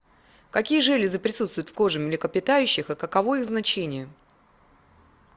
какие железы присутствуют в коже млекопитающих и каково их значение